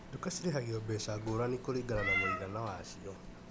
Duka cirĩhagio mbeca ngũrani kũringana ma mũgana wacio.